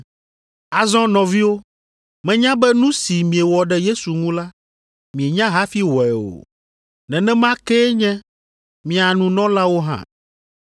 “Azɔ nɔviwo, menya be nu si miewɔ ɖe Yesu ŋu la, mienya hafi wɔe o. Nenema kee nye mia nunɔlawo hã.